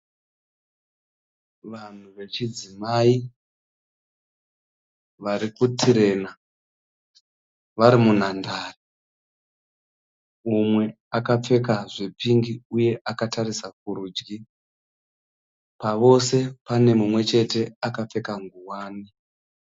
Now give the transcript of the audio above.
Vanhu vechidzimai varikutirena vari munhandare. Umwe akapfeka zvepingi uye akatarisa kurudyi. Pavose pane mumwechete akapfeka nguwani.